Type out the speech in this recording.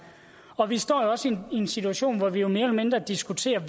og vi står jo også i en situation hvor vi mere eller mindre diskuterer